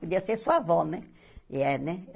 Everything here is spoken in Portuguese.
Podia ser sua avó, né? E é né